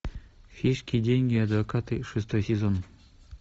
фишки деньги адвокаты шестой сезон